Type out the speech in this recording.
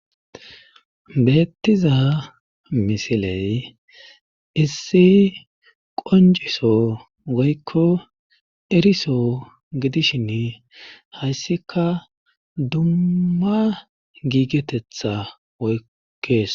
Beettiza misiley issi qonjiso goykko eriso gidishin hayssika dummma giigetetha oykkees.